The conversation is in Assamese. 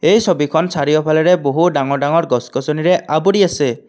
এই ছবিখন চাৰিওফালেৰে বহু ডাঙৰ ডাঙৰ গছ গছনিৰে আবৰি আছে।